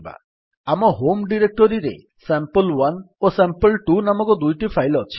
ଆମ ହୋମ୍ ଡିରେକ୍ଟୋରୀରେ ସାମ୍ପଲ୍1 ଓ ସାମ୍ପଲ୍2 ନାମକ ଦୁଇଟି ଫାଇଲ୍ ଅଛି